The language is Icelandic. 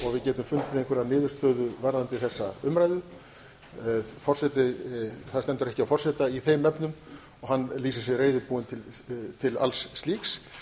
við getum fundið einhverja niðurstöðu varðandi þessa umræðu það stendur ekki á forseta í þeim efnum og hann lýsir sig reiðubúinn til alls slíks